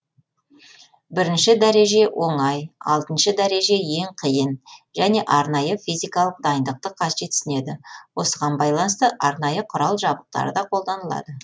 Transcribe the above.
бірінші дәреже оңай алтыншы дәреже ең қиын және арнайы физикалық дайындықты қажетсінеді осыған байланысты арнайы құрал жабдықтар да қолданылады